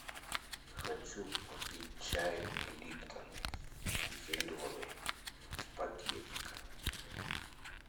хочу купить чай липтон зеленый в пакетиках